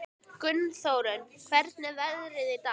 Gunnþórunn, hvernig er veðrið í dag?